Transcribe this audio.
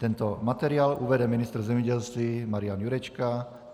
Tento materiál uvede ministr zemědělství Marian Jurečka.